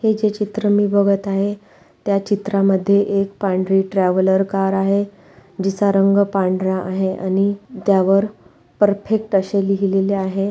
हे जे चित्र मी बगत आहे. त्या चित्रामध्ये एक पांढरी ट्रैवलर कार आहे. जिचा रंग पांढरा आहे आणि त्यावर परफेक्ट अशे लिहलेले आहे.